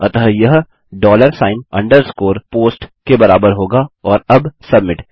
अतः यह dollar sign underscore post के बराबर होगा और अब सबमिट